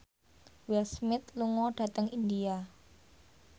Will Smith lunga dhateng India